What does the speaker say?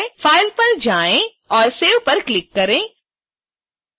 file पर जाएँ और save पर क्लिक करें